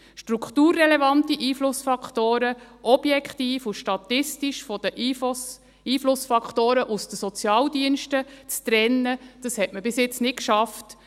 Strukturrelevante Einflussfaktoren, objektiv und statistisch von den Einflussfaktoren aus den Sozialdiensten zu trennen, das hat man bis jetzt nicht geschafft.